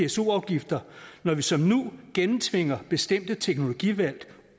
pso afgifter når vi som nu gennemtvinger bestemte teknologivalg